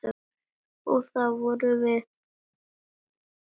Og það vorum við.